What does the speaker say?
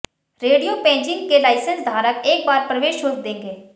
रेडियों पेजिंग के लाइसेंस धारक एकबार प्रवेश शुल्क देंगें